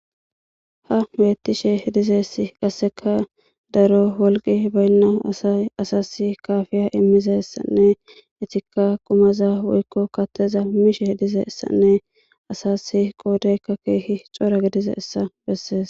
Ha beeththishe dizayssi qassikka daro wolqqi baynna asay asassi kaaafiyaa immizayssanne ethikka qumazaa woykko kaththaa mishee dizayssanne asaassi qoodaykka keehi cora gidizayssa bessees.